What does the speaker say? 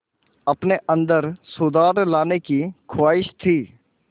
अपने अंदर सुधार लाने की ख़्वाहिश थी